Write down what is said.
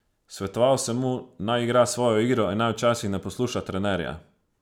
Svetoval sem mu, naj igra svojo igro in naj včasih ne posluša trenerja.